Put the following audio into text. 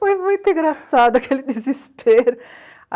Foi muito engraçado aquele desespero.